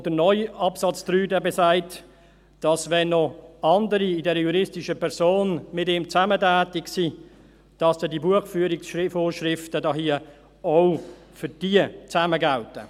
Und der neue Absatz 3 besagt, dass, wenn noch andere mit ihm zusammen in dieser juristischen Person tätig sind, diese Buchführungsvorschriften hier auch für diese gemeinsam gelten.